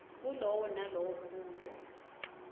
kulowo nalowo mbuto